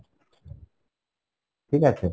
ঠিক আছে?